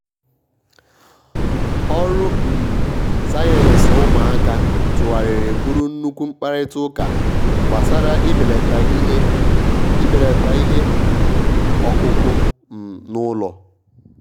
ọrụ um sayensị ụmụaka tūghàrịrị bụrụ nnukwu mkparịta ụka gbasara ibelata ihe ibelata ihe um ọkụkụ um n’ụlọ.